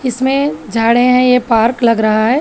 इसमें झाड़े हैं यह पार्क लग रहा है।